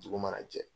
Dugu mana jɛ